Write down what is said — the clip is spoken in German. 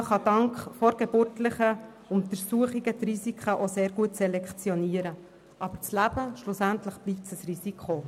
Und dank vorgeburtlichen Untersuchungen lassen sich die Risiken auch sehr gut selektionieren, aber das Leben bleibt schlussendlich ein Risiko.